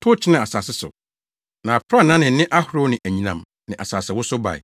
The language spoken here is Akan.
tow kyenee asase so. Na aprannaa ne nne ahorow ne anyinam ne asasewosow bae.